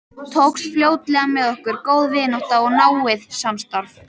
Tókst fljótlega með okkur góð vinátta og náið samstarf.